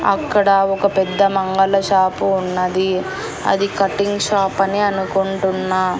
అక్కడ ఒక పెద్ద మంగళ షాపు ఉన్నది అది కటింగ్ షాప్ అని అనుకుంటున్న.